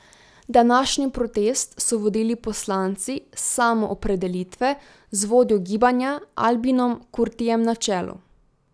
Današnji protest so vodili poslanci Samoopredelitve z vodjo gibanja Albinom Kurtijem na čelu.